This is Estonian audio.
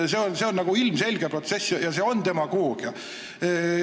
See on ilmselge protsess ja see on demagoogia.